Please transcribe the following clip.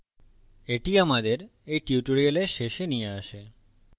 এটি আমাদের এই tutorial শেষে নিয়ে আসে